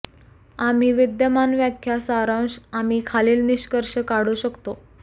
आम्ही विद्यमान व्याख्या सारांश आम्ही खालील निष्कर्ष काढू शकतो